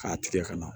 K'a tigɛ ka na